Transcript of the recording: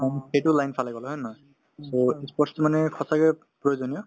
সেইটো line ফালে গলে হয় নে নহয় so ই sports তো মানে সঁচাকে প্ৰয়োজনীয়